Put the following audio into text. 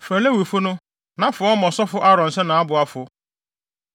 “Frɛ Lewifo no, na fa wɔn ma ɔsɔfo Aaron sɛ nʼaboafo.